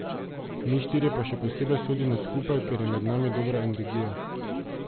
Mi štirje pa še posebej sodimo skupaj, ker je med nami dobra energija.